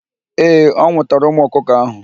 Ee, ọ nwụtara ụmụ ọkụkọ ahụ.